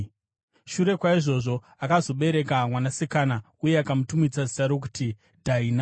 Shure kwaizvozvo akazobereka mwanasikana uye akamutumidza zita rokuti Dhaina.